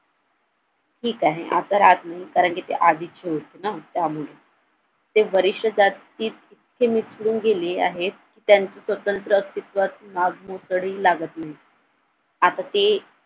ठीक आहे आता नाही ती आधीची होती ना त्यामुळे ते वरिष्ठ जाती त ते मिसळून गेले आहेत त्यांचं स्वतंत्र अस्थित्व तडी लागत नाही आता ते